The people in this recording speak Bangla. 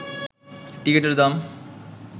টিকিটের দাম